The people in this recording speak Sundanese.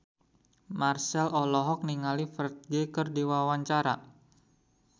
Marchell olohok ningali Ferdge keur diwawancara